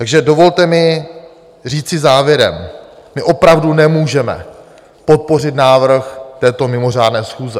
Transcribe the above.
Takže dovolte mi říci závěrem: My opravdu nemůžeme podpořit návrh této mimořádné schůze.